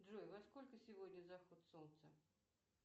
джой во сколько сегодня заход солнца